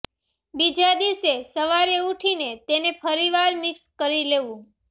બીજા દિવસે સવારે ઉઠીને તેને ફરીવાર મિક્સ કરી લેવું